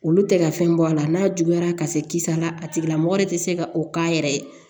Olu tɛ ka fɛn bɔ a la n'a juguyara ka se kisa la a tigilamɔgɔ tɛ se ka o k'a yɛrɛ ye